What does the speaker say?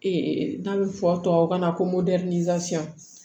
Ee n'a bɛ fɔ tubabukan na ko